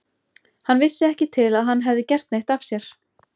Hann vissi ekki til að hann hefði gert neitt af sér.